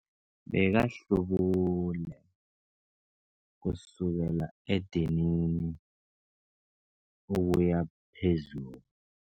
Bekahlubule kusukela edinini ukuya phezulu.